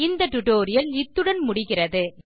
இந்த டியூட்டோரியல் முடிகிறது நன்றி